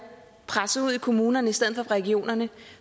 presset ud i kommunerne i stedet regionerne